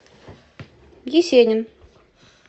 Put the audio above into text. есенин